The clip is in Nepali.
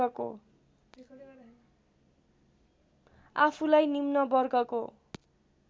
आफूलाई निम्न वर्गको